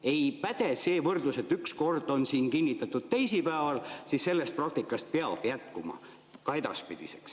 Ei päde see võrdlus, et üks kord on kinnitatud teisipäeval ja siis see praktika peab jätkuma ka edaspidi.